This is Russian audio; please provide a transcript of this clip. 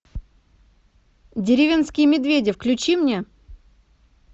деревенские медведи включи мне